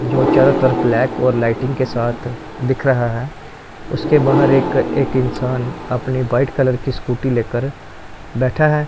जो चारों तरफ ब्लैक और लाइटिंग के साथ दिख रहा है उसके बाहर एक एक इंसान अपनी व्हाइट कलर की स्कूटी लेकर बैठा है।